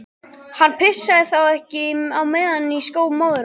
Hann pissaði þá ekki á meðan í skó móður hans.